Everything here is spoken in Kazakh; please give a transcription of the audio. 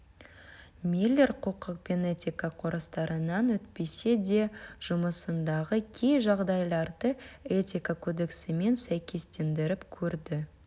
миллер құқық пен этика курстарынан өтпесе де жұмысындағы кей жағдайларды этика кодексімен сәйкестендіріп көрді